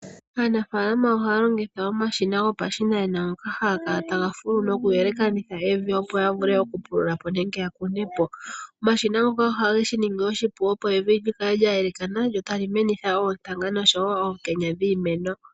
Aanafaalama ohaya longitha omashina gopa shinanena, ngoka haga kala taga fulu noku yelekanitha evi opo ya vule oku pulu lapo nenge ya kune po. Oma shina ngoka oha geshi ningi oshipu, opo evi dji kale dja yelekana djo ota li menitha oontanga nosho wo oonkenya dhii meno.